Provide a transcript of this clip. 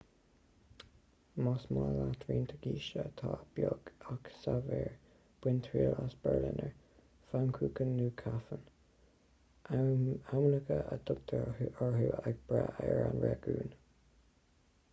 más maith leat roinnt cístí atá beag ach saibhir bain triail as berliner pfannkuchen nó krapfen ainmneacha a dtugtar orthu ag brath ar an réigiún